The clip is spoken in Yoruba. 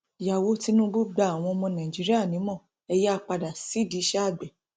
ìyàwó tìnùbù gba àwọn ọmọ nàìjíríà nímọ ẹ yáa padà sídìí iṣẹ àgbẹ